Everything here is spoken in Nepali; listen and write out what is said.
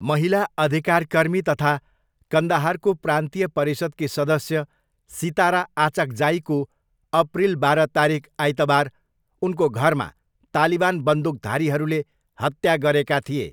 महिला अधिकारकर्मी तथा कन्दहारको प्रान्तीय परिषदकी सदस्य सितारा आचक्जाईको अप्रिल बाह्र तारिख आइतबार उनको घरमा तालिवान बन्दुकधारीहरूले हत्या गरेका थिए।